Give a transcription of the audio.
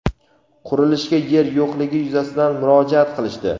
qurilishga yer yo‘qligi yuzasidan murojaat qilishdi.